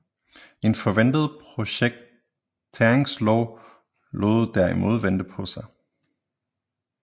En forventet projekteringslov lod derimod vente på sig